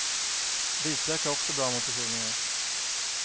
Vitlök är också bra mot förkylningar.